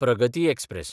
प्रगती एक्सप्रॅस